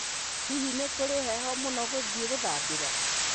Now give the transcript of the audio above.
Hihi nĩ kũrĩ heho mũno gũthiĩ gũthambĩra